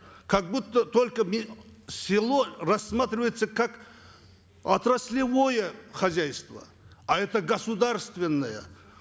как будто только село рассматривается как отраслевое хозяйство а это государственное